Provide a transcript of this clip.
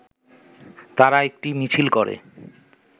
তারা একটি মিছিল করে